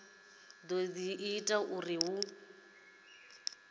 dzi do ita uri hu